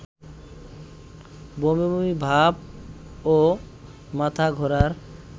বমিবমি ভাব ও মাথাঘোরার